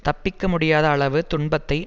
தப்பிக்க முடியாத அளவு துன்பத்தை